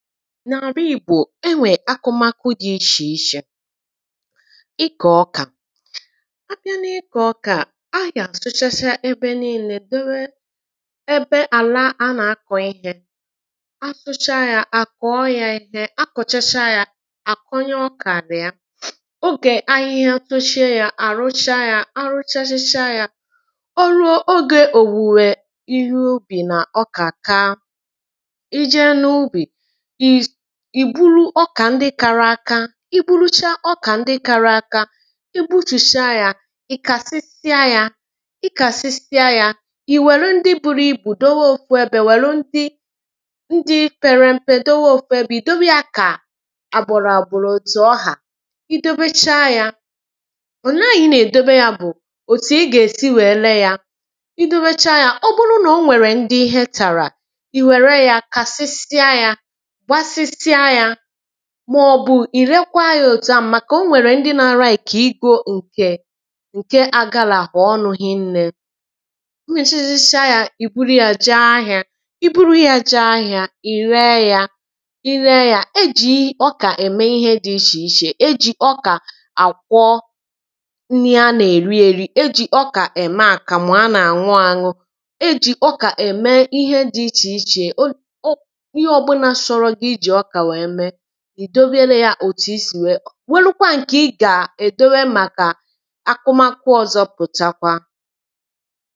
n’ àrụ ị̀gbò e nwèrè akụmakụ dị̇ ichè ichè ịkọ̀ ọkà a bịa n’ ịkọ̀ ọkà à na-àsụchacha ebe nii̇lė dewe ebe ala a nà-akọ̀ ihė a sụchaa yȧ à kọ̀ọ ya ihe a kọ̀chacha ya à kụnye ọkà nà ya ogè ahịhịa soshie yȧ à ruchaa yȧ a ruchachacha yȧ oru̇ogė òwùwè ihe ubì nà ọkà kaa ije n’ ubì ì bulu ọkà ndị kara aka i bulucha ọkà ndị kara aka i gbuchuchịa yȧ ị̀ kàsịsịa yȧ i kàsịsịa yȧ ì wère ndị buṙigbȯ dowo ofu ebė wère ndị ndị ferempe dowo ofu ebė ì dowere yȧ kà àbọ̀rọ̀ àbọ̀rọ̀ zù ọhà i dobechaa yȧ òlee anyị nà-èdobe yȧ bụ̀ òtù ị gà-èsi wèe lee yȧ i dobechaa yȧ ọ bụrụ nà o nwèrè ndị ihe tàrà i wère yȧ kasịsịa yȧ màọ̀bụ̀ ì rekwaa yȧ òtu à màkà o nwèrè ndị nȧ-ȧrȧ èkè igȯ ǹkè agalàhò ọnụ̇ hinnė i mechchisịsịa yȧ ì buru yȧ jee ahị̇ȧ i buru yȧ jee ahị̇ȧ ì ree yȧ i ree yȧ e jì ọkà ème ihe dị ichè ichè e jì ọkà àkwọ nri a nà-èri èri e jì ọkà ème àkàmụ̀ a nà-àṅụ àṅụ e jì ọkà ème ihe dị̇ ichè ichè òtù i sì nwère welukwa nkè ị gà-èdobè màkà akụmakụ ọ̀zọpụ̀takwa